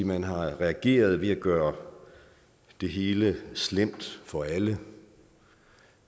man har reageret ved at gøre det hele slemt for alle